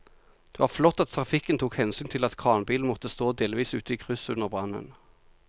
Det var flott at trafikken tok hensyn til at kranbilen måtte stå delvis ute i krysset under brannen.